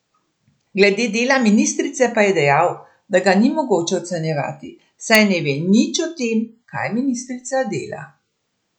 Glede dela ministrice pa je dejal, da ga ni mogoče ocenjevati, saj ne ve nič o tem, kaj ministrica dela.